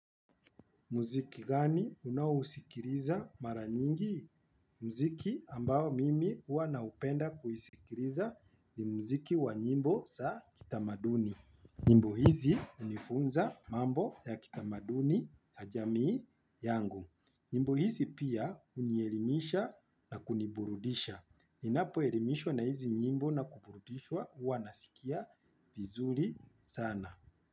Muziki gani unawusikiriza mara nyingi? Muziki ambao mimi uwa naupenda kuhisikiriza ni muziki wa nyimbo za kitamaduni. Nyimbo hizi hunifunza mambo ya kitamaduni na jami yangu. Nyimbo hizi pia unielimisha na kuniburudisha. Inapo elimishwa na hizi nyimbo na kuburudishwa uwa nasikia vizuri sana.